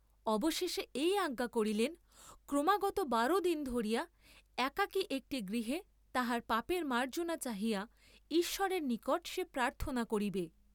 অবশেষে এই আজ্ঞা করিলেন, ক্রমাগত বার দিন ধরিয়া, একাকী একটি গৃহে তাহার পাপের মার্জ্জনা চাহিয়া ঈশ্বরের নিকট সে প্রার্থনা করিবে।